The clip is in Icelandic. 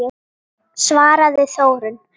svaraði Þórunn.